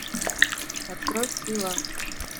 открой стрела